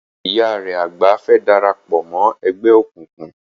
Ìyá rẹ àgbà fẹ́ darapọ̀ mọ́ ẹgbẹ́ òkùnkùn.